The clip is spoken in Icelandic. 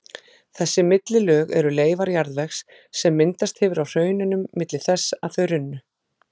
Þessi millilög eru leifar jarðvegs sem myndast hefur á hraununum milli þess að þau runnu.